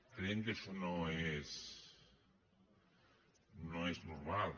creiem que això no és normal